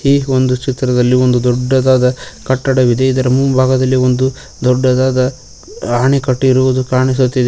ಈ ಒಂದು ಚಿತ್ರದಲ್ಲಿ ಒಂದು ದೊಡ್ಡದಾದ ಕಟ್ಟಡವಿದೆ ಇದರ ಮುಂಭಾಗದಲ್ಲಿ ಒಂದು ದೊಡ್ಡದಾದ ಆಣೆಕಟ್ಟು ಇರುವುದು ಕಾಣಿಸುತ್ತಿದೆ.